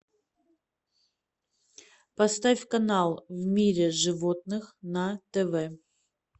поставь канал в мире животных на тв